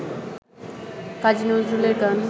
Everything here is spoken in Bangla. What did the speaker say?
কাজী নজরুলের গান